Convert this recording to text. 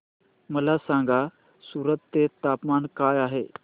मला सांगा सूरत चे तापमान काय आहे